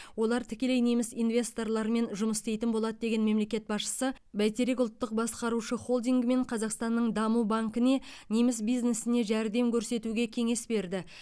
олар тікелей неміс инвесторларымен жұмыс істейтін болады деген мемлекет басшысы бәйтерек ұлттық басқарушы холдингі мен қазақстанның даму банкіне неміс бизнесіне жәрдем көрсетуге кеңес берді